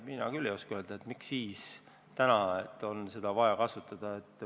Mina küll ei oska öelda, miks siis on seda vaja kasutada.